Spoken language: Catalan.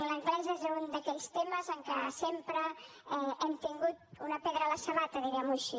l’anglès és un d’aquells temes en que sempre hem tingut una pedra a la sabata diguem ho així